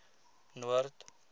noord